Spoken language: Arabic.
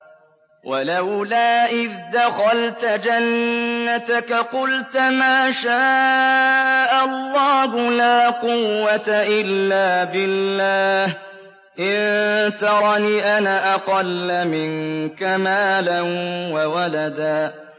وَلَوْلَا إِذْ دَخَلْتَ جَنَّتَكَ قُلْتَ مَا شَاءَ اللَّهُ لَا قُوَّةَ إِلَّا بِاللَّهِ ۚ إِن تَرَنِ أَنَا أَقَلَّ مِنكَ مَالًا وَوَلَدًا